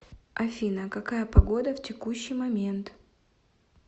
афина какая погода в текущий момент